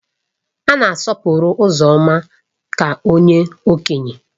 A na-asọpụrụ Uzoma ka onye Okenye